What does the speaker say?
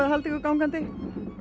að halda ykkur gangandi